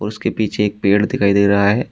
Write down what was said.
उसके पीछे एक पेड़ दिखाई दे रहा है।